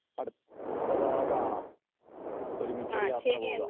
അപ്പോ നമുക്ക് തീർച്ചയായും അടുത്ത തവണ കാണാം. ഒരുമിച്ച് ഒരു യാത്ര പോകാം .